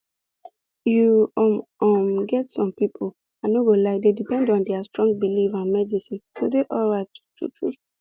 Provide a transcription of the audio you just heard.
you um um get some people i no go lie dey depend on their strong belief and medicine to dey alright truetrue